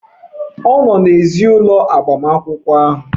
Ọ nọ n'èzí ụlọ agbamakwụkwọ ahụ.